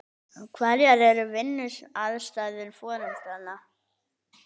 Hverjar eru vinnuaðstæður foreldranna?